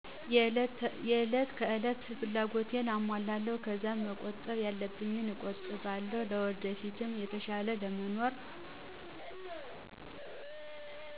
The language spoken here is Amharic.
የእለት ከእለት ፍላጎቴን አሞላለው ከዛ መቆጣብ ያለብኝን እቆጥባለው ለወደፊት የተሻለ ለመኖር።